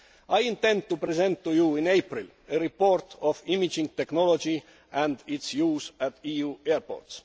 I intend to present to you in April a report on imaging technology and its use at EU airports.